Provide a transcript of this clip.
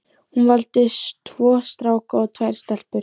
Hún valdi tvo stráka og tvær stelpur.